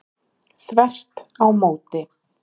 Þvert á móti